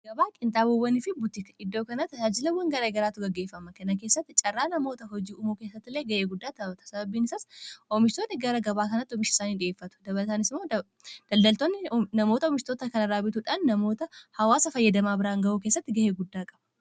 agabaa qinxaa buwwanii fi butika iddoo kanaa ajaajilawwan garae garaatu gaggeeffama kana keessatti carraa namoota hojii uumuu keessattilee ga'ee guddaa ta sababiin isaas oomishitootni gara gabaa kanatti oomishiisaanii dhi'eeffatu dabaltaan ismoo daldaltoonni namoota omishtoota kan raabituudhaan namoota hawaasa fayyadamaa biraan ga'uu keessatti ga'ee guddaa qaba